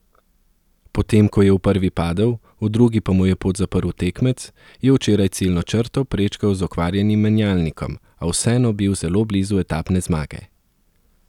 Potem ko je v prvi padel, v drugi pa mu je pot zaprl tekmec, je včeraj ciljno črto prečkal z okvarjenim menjalnikom, a vseeno bil zelo blizu etapne zmage.